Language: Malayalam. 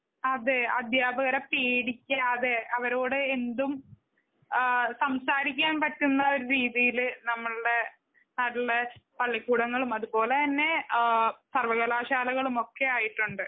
അതെ അധ്യാപകരെ പേടിക്കാതെ അവരോട് എന്തും ആ സംസാരിക്കാൻ പറ്റുന്ന രീതിയില് നമ്മളുടെ നല്ല പള്ളിക്കുടങ്ങളും അതുപോലെതന്നെആ സർവകലാശാലകളും ഒക്കെ ആയിട്ടുണ്ട്.